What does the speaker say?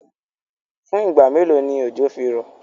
Fún ìgba mẹ́lò ni ọjọ́ fí rọ̀?